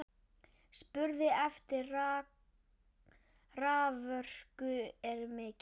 Spurn eftir raforku er mikil.